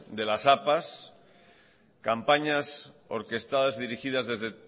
de las apas campañas orquestadas dirigidas desde